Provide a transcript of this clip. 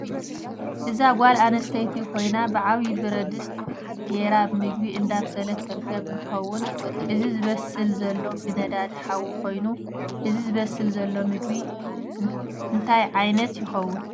እዛ ጋል ኣንስተይቲ ኮይና ብዓብይ ብረድስት ገይራ ምግብ እዳብሰለት ትርከብ እንትከውን እዚ ዝበስል ዘሎ ብነዳዲ ሓዊ ኮይኑ እዚ ዝበስል ዘሎ ምግብ እንታይ ዓይነት ይከውን?